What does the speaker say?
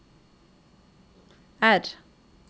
R